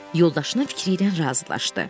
Yoldaşının fikri ilə razılaşdı.